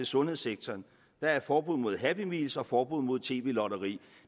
sundhedssektoren der er et forbud mod happy meals og forbud mod tv lotteri